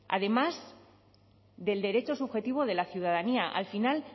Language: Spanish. además del derecho subjetivo de la ciudadanía al final